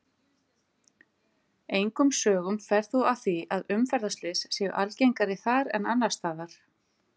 Engum sögum fer þó af því að umferðarslys séu algengari þar en annars staðar.